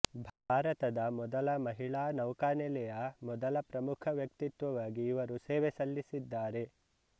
ಭಾರತದ ಮೊದಲ ಮಹಿಳಾ ನೌಕಾನೆಲೆಯ ಮೊದಲ ಪ್ರಮುಖ ವ್ಯಕ್ತಿತ್ವವಾಗಿ ಇವರು ಸೇವೆಸಲ್ಲಿಸಿದ್ದಾರೆ